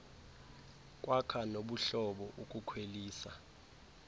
kwakha nobuhlobo ukukhwelisa